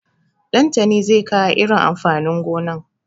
Ɗantani zai kawo irin amfanin gonan.